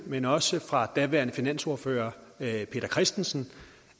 men også fra daværende finansordfører herre peter christensen